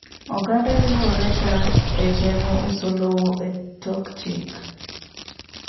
Oganda riworega egeng'o uso lowo etok chik.